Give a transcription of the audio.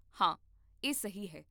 ਹਾਂ, ਇਹ ਸਹੀ ਹੈ